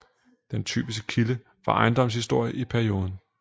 Den typiske kilde for ejendomshistorie i perioden